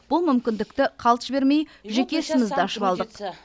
бұл мүмкіндікті қалт жібермей жеке ісімізді ашып алдық